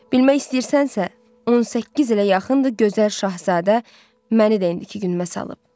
Bilmək istəyirsənsə, 18 ilə yaxındır gözəl Şahzadə məni də indiki günüma salıb.